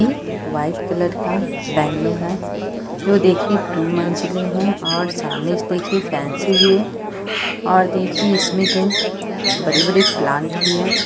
यह white colour का bungalow है जो दिखे टू मंजिलें है सामने से देखे फैंसी भी है और देखिये इसमें दो बड़े-बड़े प्लांट भी है।